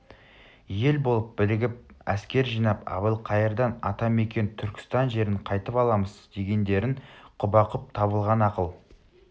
ел болып бірігіп әскер жинап әбілқайырдан ата мекен түркістан жерін қайтып аламыз дегендерің құба-құп табылған ақыл